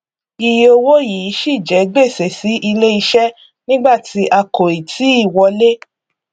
iye owó yìí ṣì jẹ gbèsè sí ilé iṣẹ nígbà tí kò ì tíì wọlé